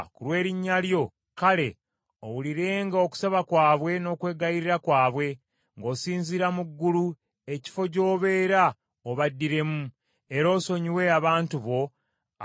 kale, owulirenga okusaba kwabwe n’okwegayirira kwabwe, ng’osinziira mu ggulu, ekifo gy’obeera obaddiremu, era osonyiwe abantu bo abakwonoonye.